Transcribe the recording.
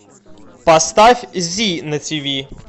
поставь зи на тиви